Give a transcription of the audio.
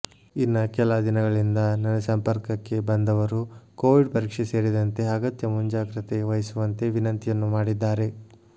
ಇನ್ನ ಕೆಲ ದಿನಗಳಿಂದ ನನ್ನ ಸಂಪರ್ಕಕ್ಕೆ ಬಂದವರು ಕೊವಿಡ್ ಪರೀಕ್ಷೆ ಸೇರಿದಂತೆ ಅಗತ್ಯ ಮುಂಜಾಗ್ರತೆ ವಹಿಸುವಂತೆ ವಿನಂತಿಯನ್ನು ಮಾಡಿದ್ದಾರೆ